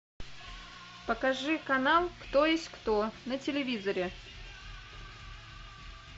покажи канал кто есть кто на телевизоре